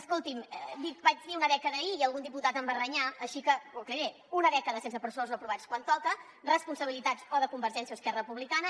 escolti’m vaig dir una dècada ahir i algun diputat em va renyar així que ho aclariré una dècada sense pressupostos aprovats quan toca responsabilitat o de convergència o d’esquerra republicana